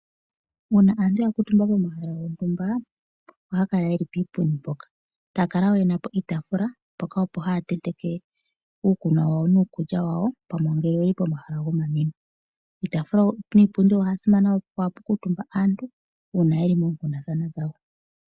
Uuna aantu ya kuutumba pomahala gontumba ohaa kala yeli piipundi mpoka taa kala wo yena po iitafula mpoka opo haa ntenteke uukulya nuukunwa wawo pamwe ngele oyeli pomaha gomamwino piitafula niipundi opwa simana oshoka ohapu kuutumba aantu uuna yeli moonkundathana dhawo.